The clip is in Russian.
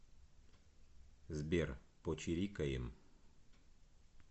сбер почирикаем